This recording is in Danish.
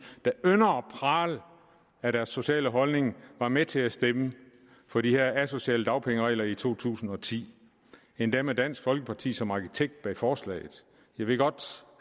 der ynder at prale af deres sociale holdning var med til at stemme for de her asociale dagpengeregler i to tusind og ti endda med dansk folkeparti som arkitekt bag forslaget jeg ved godt